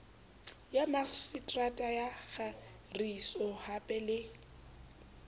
ya makgiseterata ya kagisohape le